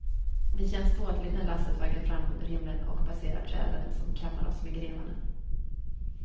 Det känns ståtligt när lasset vaggar fram under himlen och passerar träden, som kammar oss med grenarna.